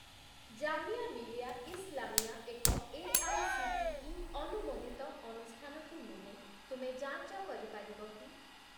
ଜାମିଆ ମିଲିଆ ଇସ୍‌ଲାମିଆ ଏକ ଏଆଇସିଟିଇ ଅନୁମୋଦିତ ଅନୁଷ୍ଠାନ କି ନୁହେଁ ତୁମେ ଯାଞ୍ଚ କରିପାରିବ କି?